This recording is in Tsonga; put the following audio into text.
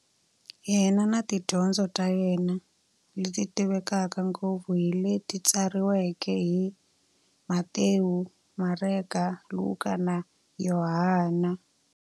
Yena na tidyondzo ta yena, leti tivekaka ngopfu hi leti tsariweke hi-Matewu, Mareka, Luka, na Yohani.